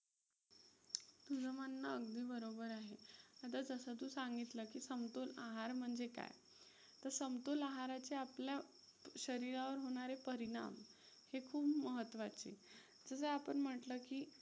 तुझं म्हणणं अगदी बरोबर आहे. आता जसं तू सांगितलं की समतोल आहार म्हणजे काय? तर समतोल आहाराच्या आपल्या शरीरावर होणारे परिणाम हे खूप महत्वाचे. जसं आपण म्हंटलं की,